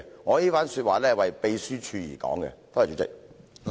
我這番話是為秘書處而說的，多謝主席。